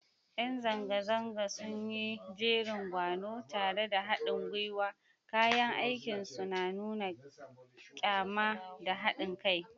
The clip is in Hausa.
Yan zanga-zangar sun yi jerin gwano tare da hadin gwiwa, kayan aikinsu na nuna kyama da hadin kai.